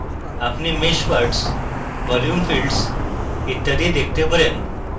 apply mesh parts volume fields ইত্যাদি দেখতে পারেন